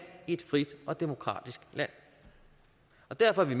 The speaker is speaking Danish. i et frit og demokratisk land og derfor er vi